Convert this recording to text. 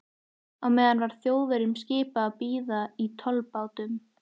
Á meðan var Þjóðverjunum skipað að bíða í tollbátnum.